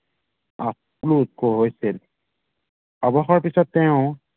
হৈছিল অৱসৰৰ পিছত তেওঁ